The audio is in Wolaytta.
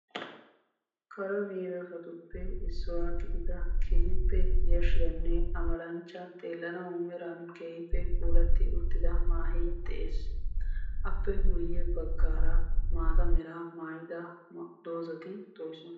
Kare medoossatuppe issuwa gidida keehippe yashshiyaanne amalanchcha xeellanawu meran keehippe puulatti uttida maahee de"es. Appe guyye baggaara maata meraa maayida doozzati doosona.